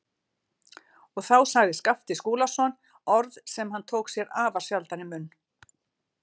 Og þá sagði Skapti Skúlason orð sem hann tók sér afar sjaldan í munn.